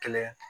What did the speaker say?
Kɛlɛ